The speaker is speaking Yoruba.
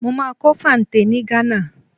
Mo máa kọ́ fante ni Ghana.